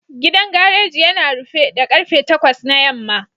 Gidan gareji yana rufe da karfe takwas na yamma